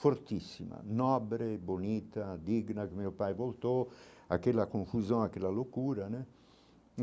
Fortíssima, nobre, bonita, digna que meu pai voltou, aquela confusão, aquela loucura né.